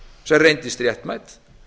sem reyndist réttmæt